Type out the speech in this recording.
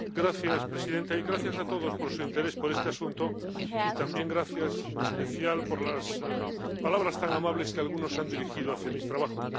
Señora presidenta, gracias a todos por su interés por este asunto y también gracias, en especial, por las palabras tan amables que algunos han dirigido hacia mi trabajo.